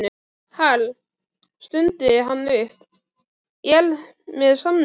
Hal, stundi hann upp, ég er með samning